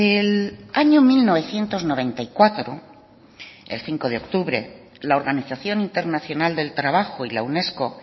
el año mil novecientos noventa y cuatro el cinco de octubre la organización internacional del trabajo y la unesco